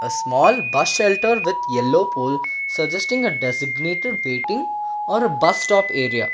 a small bus shelter with yellow pole suggesting a designated waiting or a bus stop area.